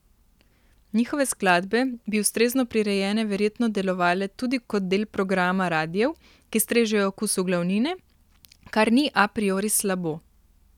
Njihove skladbe bi ustrezno prirejene verjetno delovale tudi kot del programa radijev, ki strežejo okusu glavnine, kar ni a priori slabo.